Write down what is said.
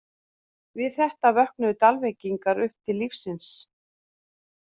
Við þetta vöknuðu Dalvíkingar upp til lífsins.